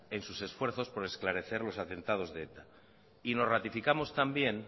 en sus esfuerzos por esclarecer los atentados de eta y nos ratificamos también